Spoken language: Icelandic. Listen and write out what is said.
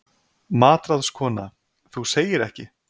MATRÁÐSKONA: Þú segir ekki!